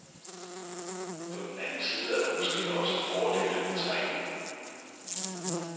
På den anden side er der måske også fordele ved træningen.